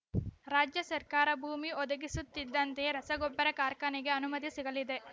ರಾಜ್ಯ ಸರ್ಕಾರ ಭೂಮಿ ಒದಗಿಸುತ್ತಿದ್ದಂತೆಯೇ ರಸಗೊಬ್ಬರ ಕಾರ್ಖಾನೆಗೆ ಅನುಮತಿ ಸಿಗಲಿದೆ